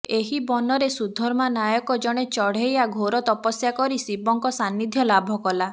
ଏହି ବନରେ ସୁଧର୍ମା ନାମକ ଜଣେ ଚଢ଼େୟା ଘୋର ତପସ୍ୟା କରି ଶିବଙ୍କ ସାନ୍ନିଧ୍ୟ ଲାଭ କଲା